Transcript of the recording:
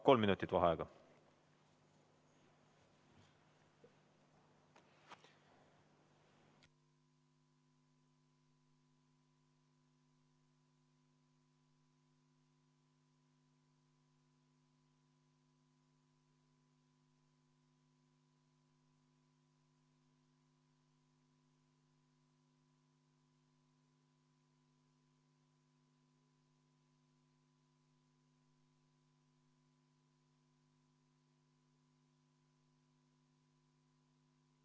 Kolm minutit vaheaega.